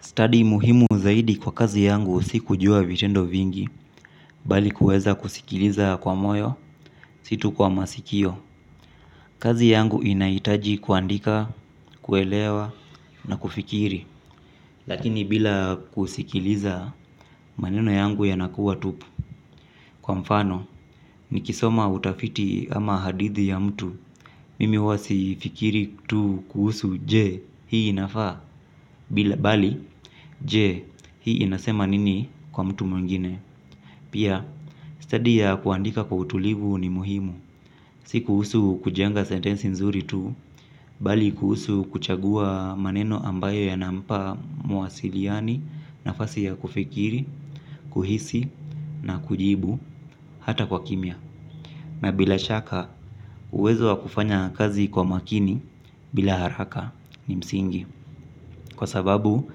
Study muhimu zaidi kwa kazi yangu si kujua vitendo vingi, bali kuweza kusikiliza kwa moyo, si tu kwa masikio. Kazi yangu inaitaji kuandika, kuelewa, na kufikiri. Lakini bila kusikiliza, maneno yangu yanakuwa tupu. Kwa mfano, nikisoma utafiti ama hadithi ya mtu, mimi huwa sifikiri tu kuhusu je, hii inafaa. Bila bali, je, hii inasema nini kwa mtu mwingine. Pia, stadi ya kuandika kwa utulivu ni muhimu, si kuhusu kujenga sentensi nzuri tu, bali kuhusu kuchagua maneno ambayo yanampa mwasiliani nafasi ya kufikiri, kuhisi na kujibu hata kwa kimya. Na bila shaka, uwezo wa kufanya kazi kwa makini bila haraka ni msingi, kwa sababu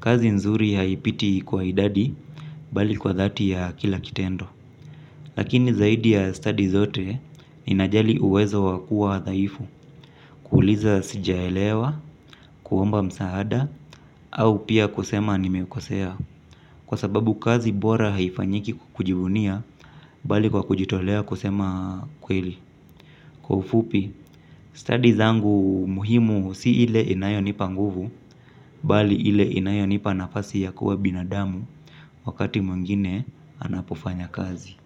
kazi nzuri haipiti kwa idadi bali kwa dhati ya kila kitendo. Lakini zaidi ya stadi zote, inajali uwezo wakua dhaifu, kuuliza sijaelewa, kuomba msaada, au pia kusema nimeukosea. Kwa sababu kazi bora haifanyiki kujivunia, bali kwa kujitolea kusema kweli. Kwa ufupi, stadi zangu muhimu si ile inayo nipa nguvu, bali ile inayo nipa nafasi ya kuwa binadamu, wakati mwingine anapofanya kazi.